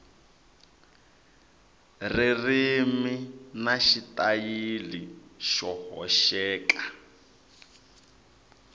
ririmi na xitayili xo hoxeka